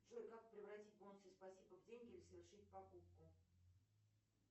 джой как превратить бонусы спасибо в деньги или совершить покупку